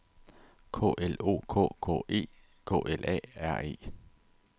K L O K K E K L A R E